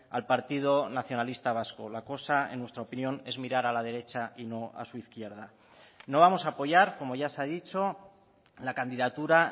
al partido nacionalista vasco la cosa en nuestra opinión es mirar a la derecha y no a su izquierda no vamos a apoyar como ya se ha dicho la candidatura